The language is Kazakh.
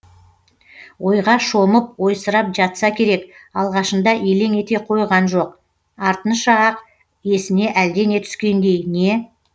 ойға шомып ойсырап жатса керек алғашында елең ете қойған жоқ артынша ақ есіне әлдене түскендей не